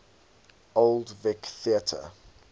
old vic theatre